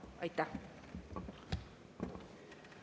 Aitäh!